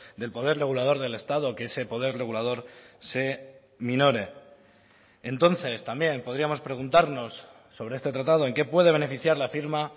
del poder regulador del estado que ese poder regulador se minore entonces también podríamos preguntarnos sobre este tratado en qué puede beneficiar la firma